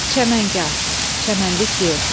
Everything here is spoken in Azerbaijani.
Çəməngah, çəmənlik yer.